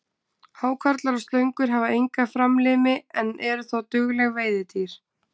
Hákarlar og slöngur hafa enga framlimi en eru þó dugleg veiðidýr.